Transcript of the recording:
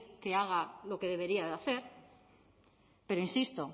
que haga lo que debería de hacer pero insisto